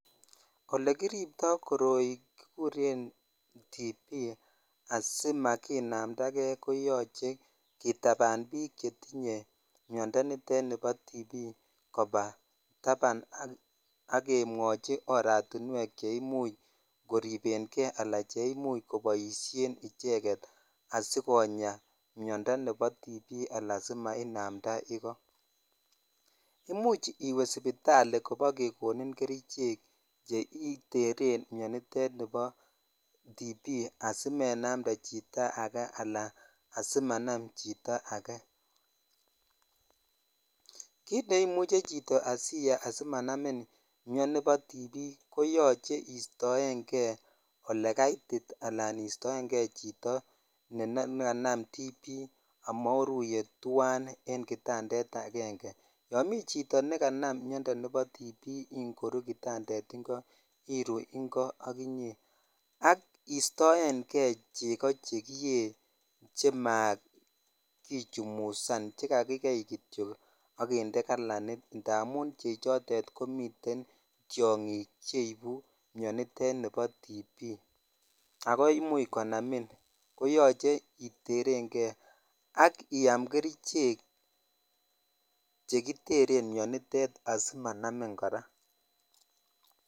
olegiriptoo koroi kigureen tuberculosis asimaginamdagee koyoche kitabaan biik che tinye myondo niteet nebo tuberculosis koba tabaan ak kemwochi oratinweek cheimuch koiribengee alan cheimuch koboishen icheget asigonyaa myondo nebo tuberculosis anan asimanaamnda igoo, imuch iwee sibitali asibogegonin kericheek cheiteren myoniteet niboo tuberculosis asimenamdee chito age alan asimanaam chito agee, kiit neimuche chito asimanamin myoniteet nebo tuberculosis koyoche iistoengee olegaitit anan iistoengee chito neganam tuberculosis amoruyee twaan en kitandeet agenge, yoon mii chito neganam myondoo nebo tuberculosis ingoruu kitandeet ingo iruu ingo ak inyee ak istoengee chego chekiyee chamagichumusaan chegagigei kityo ak kinde kalaniit taamuun chechoteet komiten tyongiik cheibu myonitet nebo tuberculosis agoi imuuch konamiin ko yoche iterengee ak iyaam kerichek chegiteren myoniteet asimanamin koraa.